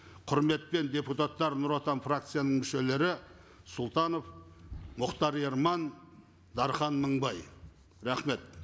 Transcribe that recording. құрметпен депутаттар нұр отан фракцияның мүшелері сұлтанов мұхтар ерман дархан мыңбай рахмет